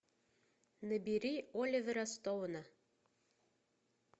набери оливера стоуна